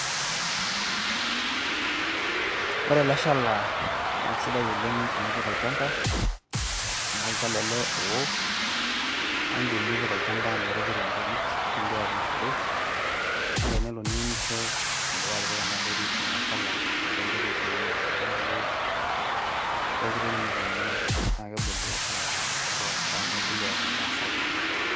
ore ele shala naa kisidai oleng tenipik olchampa. amu olchala ele oowo, naa idim nipik olchampa, nipik enterit nigira aunishore. naa tenelo niunisho idipa atipika ena terit ee shala ligira aunishore, naa kebulu pooki nituunu, nebulu eeta entoki sapuk oleng.